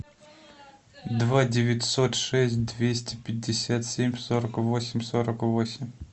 два девятьсот шесть двести пятьдесят семь сорок восемь сорок восемь